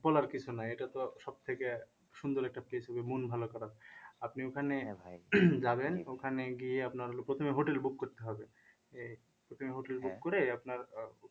বলার কিছু নাই এটা তো সব থেকে সুন্দর একটা মন ভালো করার আপনি ওখানে যাবেন ওখানে গিয়ে আপনার হলো প্রথমে hotel book করতে হবে প্রথমে hotel book করে আপনার